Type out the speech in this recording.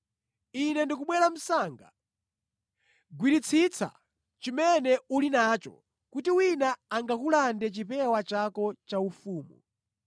Ine ndikubwera msanga. Gwiritsitsa chimene uli nacho kuti wina angakulande chipewa chako chaufumu.